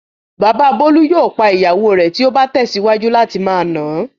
Bàbá Bólú yóò pa ìyàwó rẹ̀ tí ó bá tẹ̀síwájú láti máa nà á.